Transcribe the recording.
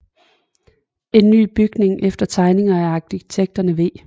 En ny bygning efter tegninger af arkitekterne V